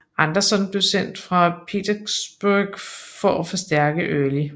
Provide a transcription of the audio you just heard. Anderson blev sendt fra Petersburg for at forstærke Early